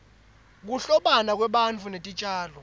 kuhlobana kwebantfu netitjalo